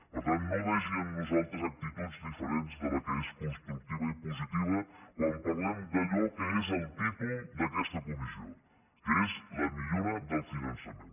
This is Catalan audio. per tant no vegi en nosaltres actituds diferents de la que és constructiva i positiva quan parlem d’allò que és el títol d’aquesta comissió que és la millora del finançament